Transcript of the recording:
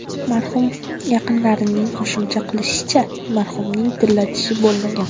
Marhum yaqinlarining qo‘shimcha qilishicha, marhumning tilla tishi bo‘lmagan.